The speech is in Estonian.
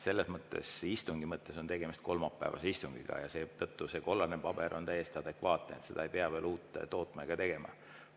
Selles mõttes, istungi mõttes on tegemist kolmapäevase istungiga ja seetõttu see kollane paber on täiesti adekvaatne ja ei pea veel uut tootma ega tegema.